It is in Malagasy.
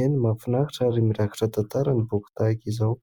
eny mahafinaritra ary mirakitra tantara ny boky tahaka izao.